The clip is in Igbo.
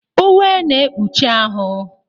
Uwe na-ekpuchi ahụ.